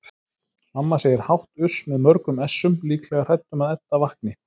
Mamma segir hátt uss með mörgum essum, líklega hrædd um að Edda vakni.